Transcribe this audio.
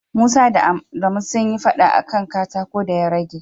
Musa da Adamu sun yi fada a ka katako da ya rage.